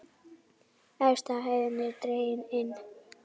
Efsta hæðin er dregin inn.